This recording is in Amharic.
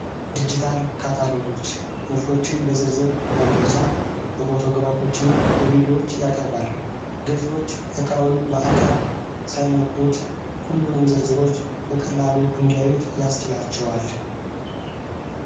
ዲጂታል ካታሎጎች ምርቶችን በዝርዝር መግለጫ በፎቶግራፎች እና በቪዴዎች ያቀርባል ገዢዎች እቃውን በአካል ሳይነኩት ሁሉንም ዝርዝሮች በቅላሉ እንዲያዩት ያስችላቸዋል።